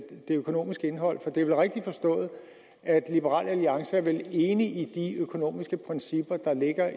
økonomiske indhold for det er vel rigtigt forstået at liberal alliance er enig i de økonomiske principper der ligger